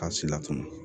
K'a si la fana